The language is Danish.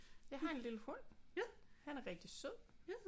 Jeg har en lille hund han er rigtig sød